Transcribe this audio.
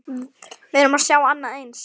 Við erum að sjá annað eins?